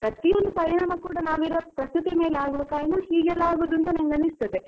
ಪ್ರತಿಯೊಂದು ಪರಿಣಾಮ ಕೂಡ ನಾವು ಇರೋ ಪ್ರಕೃತಿ ಮೇಲೆ ಆಗುವ ಕಾರಣ ಹೀಗೆ ಯೆಲ್ಲಾ ಆಗೋದು ಅಂತ ನಂಗೆ ಅನಿಸುತ್ತದೆ.